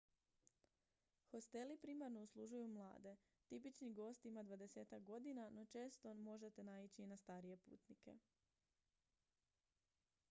hosteli primarno uslužuju mlade tipični gost ima dvadesetak godina no često možete naići i na starije putnike